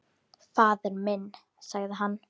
Faðir minn, sagði hann.